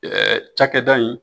Ɛɛ cakɛda in